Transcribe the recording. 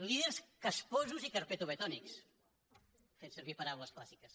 líders casposos i carpetovetònics fent servir paraules clàssiques